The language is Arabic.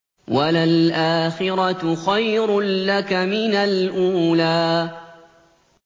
وَلَلْآخِرَةُ خَيْرٌ لَّكَ مِنَ الْأُولَىٰ